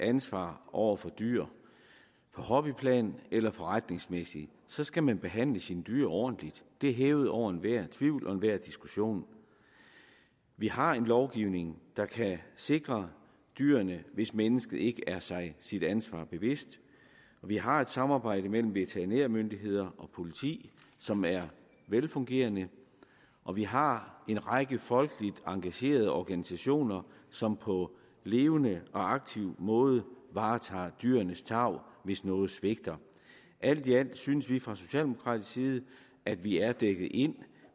ansvar over for dyr på hobbyplan eller forretningsmæssigt så skal man behandle sine dyr ordentligt det er hævet over enhver tvivl og enhver diskussion vi har en lovgivning der kan sikre dyrene hvis mennesket ikke er sig sit ansvar bevidst og vi har et samarbejde mellem veterinærmyndigheder og politi som er velfungerende og vi har en række folkeligt engagerede organisationer som på levende og aktiv måde varetager dyrenes tarv hvis noget svigter alt i alt synes vi fra socialdemokratisk side at vi er dækket ind